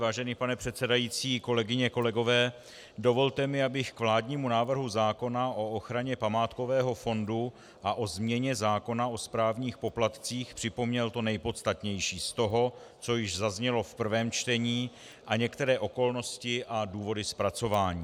Vážený pane předsedající, kolegyně, kolegové, dovolte mi, abych k vládnímu návrhu zákona o ochraně památkového fondu a o změně zákona o správních poplatcích připomněl to nejpodstatnější z toho, co již zaznělo v prvém čtení, a některé okolnosti a důvody zpracování.